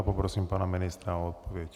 A poprosím pana ministra o odpověď.